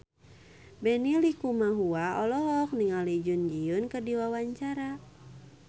Benny Likumahua olohok ningali Jun Ji Hyun keur diwawancara